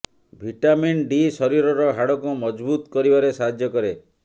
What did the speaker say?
vitamin D ଶରୀରର ହାଡ଼କୁ ମଜଭୁତ କରିବାରେ ସାହାଯ୍ୟ କରେ